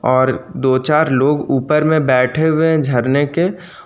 और दो चार लोग ऊपर में बैठे हुए झरने के--